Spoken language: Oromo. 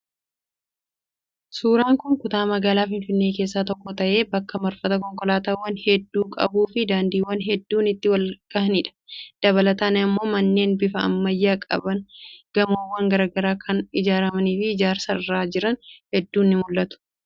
Suuraan kun kutaa magaalaa Finfinnee keessaa tokko ta'ee bakka marfata konkolaataawwan hedduu qabuu fi daandiiwwan hedduun itti wal gahanidha. Dabalataan immoo manneen bifa ammayyaa qaban gamoowwan garaagaraa kan ijaaramanii fi ijaarsarra jiran hedduun ni mul'atu.